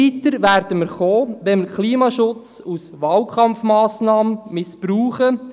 Wir werden nicht weiterkommen, wenn wir den Klimaschutz als Wahlkampfmassnahme missbrauchen.